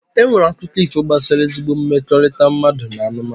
E nwere akụkọ ifo gbasara ezigbo mmekọrịta mmadụ na anụmanụ.